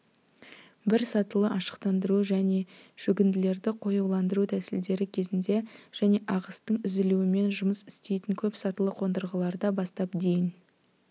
бір сатылы ашықтандыру және шөгінділерді қоюландыру тәсілдері кезінде және ағыстың үзілуімен жұмыс істейтін көп сатылы қондырғыларда бастап дейін